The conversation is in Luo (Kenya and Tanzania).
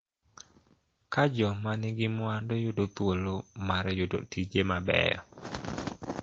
Ka jomanigi mwandu yudo thuolo mar yudo tije mabeyo.